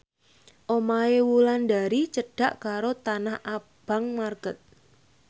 omahe Wulandari cedhak karo Tanah Abang market